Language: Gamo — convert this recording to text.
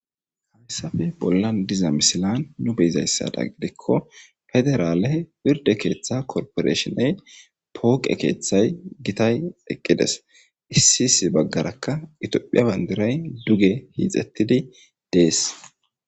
Hamissafe bolla diza misilan nu beyzayssada gidikko federaale pirde keeththa korporeshoney pooqe keeththay gitay eqqides issi isi baggarakka itiophiya bandiray duge hiixettidi dees